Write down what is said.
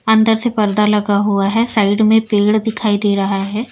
अंदर से पर्दा लगा हुआ है साइड में पेड़ दिखाई दे रहा है।